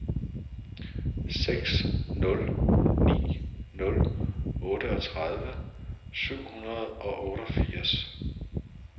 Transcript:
seks nul ni nul otteogtredive syv hundrede og otteogfirs